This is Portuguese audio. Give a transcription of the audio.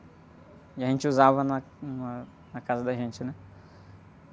E a gente usava na, na, na casa da gente, né?